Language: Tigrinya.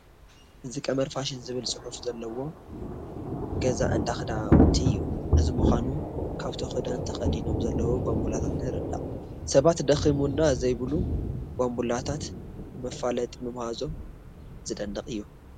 እዚ ቀመር ፋሽን ዝብል ፅሑፍ ዘለዎ ገዛ እንዳ ክዳውንቲ እዩ፡፡ እዚ ምዃኑ ካብቶ ክዳን ተኸዲኖም ዘለዉ ባንቡላታት ንርዳእ፡፡ ሰባት ደኺሙና ዘይብሉ ባንቡላታት ንመፋለጢ ምምሃዞም ዝደንቕ እዩ፡፡